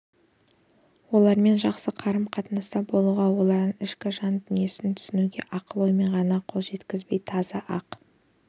олармен жақсы қарым-қатынаста болуға олардың ішкі жан дүниесін түсінуге ақыл-оймен ғана қол жеткізбей таза ақ